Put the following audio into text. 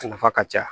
A nafa ka ca